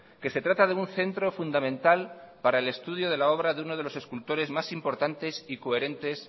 que se trata de un centro fundamental para el estudio de la obra de uno de los escultores más importantes y coherentes